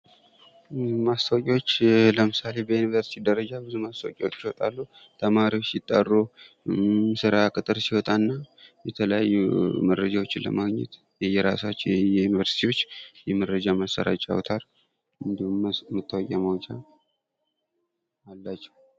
ማስታወቂያዎች ለምሳሌ በዩንቨርስቲ ደረጃ ብዙ ማስታወቂያዎች ይወጣሉ:: ተማሪዎች ሲጠሩ ሥራ ቅጥር ሲወጣ እና የተለያዩ መረጃዎችን ለማግኘት የየራሳቸው የዩንቨርስቲዎች የመረጃ ማሰራጫ አውታሩ እንዲሁም መታወቂያ ማውጫ አላቸው::